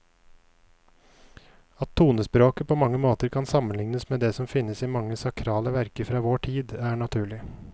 At tonespråket på mange måter kan sammenlignes med det som finnes i mange sakrale verker fra vår tid, er naturlig.